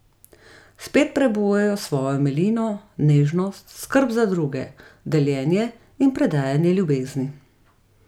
Spet prebujajo svojo milino, nežnost, skrb za druge, deljenje in predajanje ljubezni.